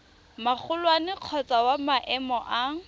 magolwane kgotsa wa maemo a